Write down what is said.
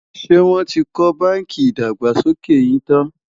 ṣé wón tí kò bánkì ìdàgbàsókè yín tán?